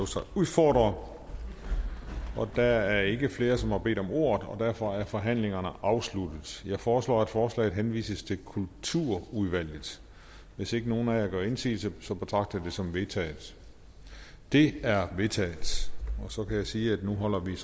sig udfordre der er ikke flere som har bedt om ordet og derfor er forhandlingerne afsluttet jeg foreslår at forslaget henvises til kulturudvalget hvis ikke nogen af jer gør indsigelse betragter jeg det som vedtaget det er vedtaget så kan jeg sige at nu holder vi